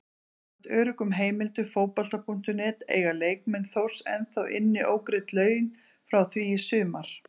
Samkvæmt öruggum heimildum Fótbolta.net eiga leikmenn Þórs ennþá inni ógreidd laun frá því í sumar.